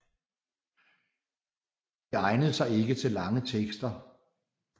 Det egnede sig ikke til lange tekster